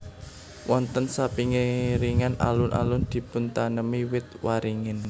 Wonten sapinggiring Alun alun dipuntanemi wit waringin